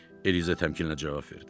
Eliza təmkinlə cavab verdi.